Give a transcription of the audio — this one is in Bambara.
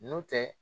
N'o tɛ